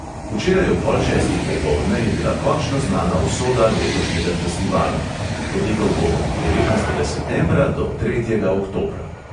Včeraj ob pol šestih popoldne je bila končno znana usoda letošnjega festivala – potekal bo od devetnajstega septembra do tretjega oktobra.